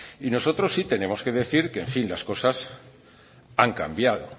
y nosotros sí tenemos que decir que en fin las cosas han cambiado